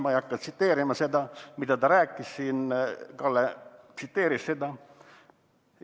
Ma ei hakka tsiteerima, mida ta rääkis siin, Kalle tsiteeris seda.